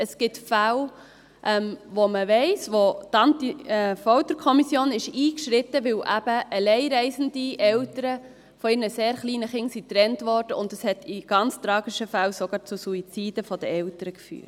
Man kennt Fälle, wo die Antifolterkommission eingeschritten ist, weil eben alleinreisende Eltern von ihren sehr kleinen Kindern getrennt wurden, und dies hat in ganz tragischen Fällen sogar zu Suiziden der Eltern geführt.